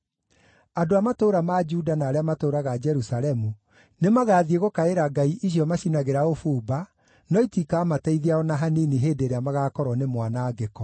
Andũ a matũũra ma Juda na arĩa matũũraga Jerusalemu nĩmagathiĩ gũkaĩra ngai icio macinagĩra ũbumba, no itikamateithia o na hanini hĩndĩ ĩrĩa magaakorwo nĩ mwanangĩko.